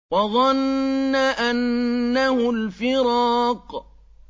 وَظَنَّ أَنَّهُ الْفِرَاقُ